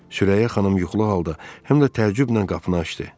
Sürəyya xanım yuxulu halda həm də təəccüblə qapını açdı.